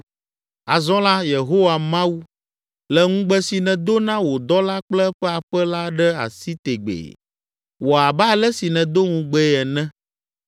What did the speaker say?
“Azɔ la, Yehowa Mawu, lé ŋugbe si nèdo na wò dɔla kple eƒe aƒe la ɖe asi tegbee. Wɔ abe ale si nèdo ŋugbee ene,